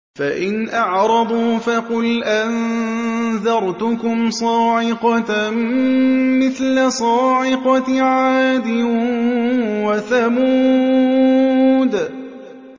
فَإِنْ أَعْرَضُوا فَقُلْ أَنذَرْتُكُمْ صَاعِقَةً مِّثْلَ صَاعِقَةِ عَادٍ وَثَمُودَ